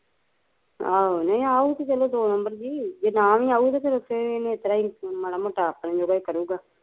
ਆਹੋ ਨਹੀਂ ਅਉਗਾ ਤੇ ਚਲੋ ਦੋ ਨਬਰ ਚ ਜੇ ਨਾ ਵੀ ਆਯੂ ਤੇ ਓਥੇ ਫਿਰ ਇਹਨੇ ਇਸਤਰਾਂ ਈ ਮਾੜਾ ਮੋਟਾ ਅਪਣੇ ਜੋਗਾ ਈ ਕਰੁਗਾ